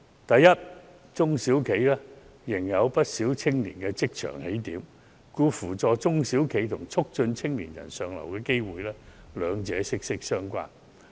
第一，中小企仍然是不少青年進入職場的起點，故此扶助中小企與促進青年人向上流動，兩者息息相關。